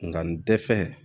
Nka nin dɛsɛ